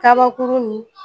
Kabakurun nin